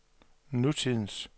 nutidens